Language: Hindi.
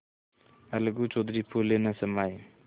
अलगू चौधरी फूले न समाये